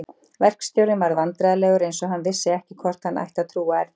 Verkstjórinn varð vandræðalegur eins og hann vissi ekki hvort hann ætti að trúa Erni.